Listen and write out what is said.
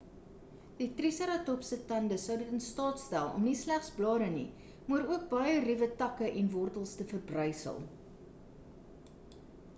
die triseratops se tande sou in dit in staat stel om nie slegs blare nie maar ook baie ruwe takke en wortels te verbrysel